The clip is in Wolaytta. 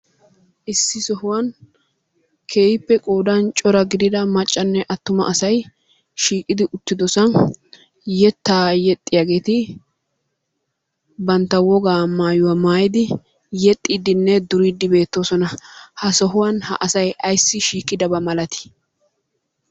Issi sohuwan keehippe qoodan cora gidida maccanne attuma asay shiiqidi uttidosan yettaa yexxiyageeti bantta wogaa maayuwa maayidi yexxiiddinne duriidde beettoosona. Ha sohuwan ha asay ayssi shiiidaba malatii?